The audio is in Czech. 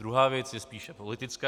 Druhá věc je spíše politická.